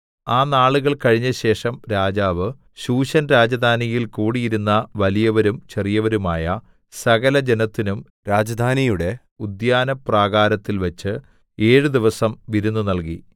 ആ നാളുകൾ കഴിഞ്ഞശേഷം രാജാവ് ശൂശൻ രാജധാനിയിൽ കൂടിയിരുന്ന വലിയവരും ചെറിയവരുമായ സകലജനത്തിനും രാജധാനിയുടെ ഉദ്യാനപ്രാകാരത്തിൽ വച്ച് ഏഴു ദിവസം വിരുന്ന് നൽകി